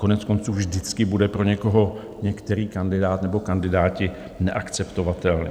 Koneckonců vždycky bude pro někoho některý kandidát, nebo kandidáti, neakceptovatelný.